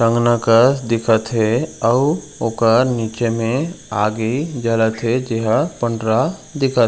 अंगना कस दिखत हे अऊ ओकर नीचे में आगी जलत हे जेहा पंडरा दिखत--